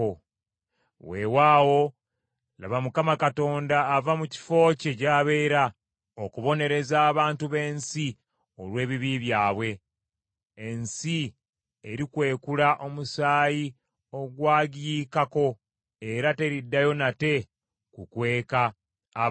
Weewaawo laba Mukama Katonda ava mu kifo kye gy’abeera okubonereza abantu b’ensi olw’ebibi byabwe. Ensi erikwekula omusaayi ogwagiyiikako, era teriddayo nate kukweka abattibwa.